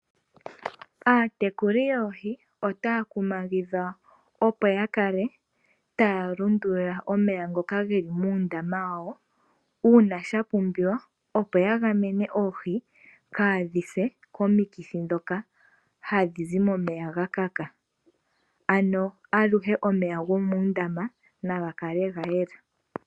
Aatekuli yoohi otaya kumagidhwa opo yakale taya lundulula omeya ngoka geli muundama wawo, uuna shapumbiwa opo yagamene oohi kaadhi se komikithi ndhoka hadhi zi momeya gakaka. Ano aluhe omeya gomuundama nagakale gayela.